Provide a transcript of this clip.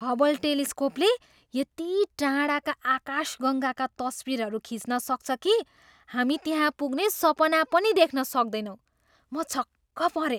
Hubble टेलिस्कोपले यति टाढाका आकाशगङ्गाका तस्बिरहरू खिच्न सक्छ कि हामी त्यहाँ पुग्ने सपना पनि देख्न सक्दैनौँ। म छक्क परेँ!